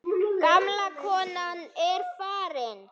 Gamla konan er farin.